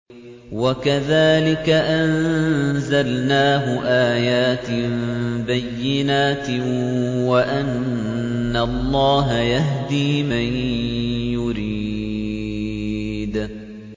وَكَذَٰلِكَ أَنزَلْنَاهُ آيَاتٍ بَيِّنَاتٍ وَأَنَّ اللَّهَ يَهْدِي مَن يُرِيدُ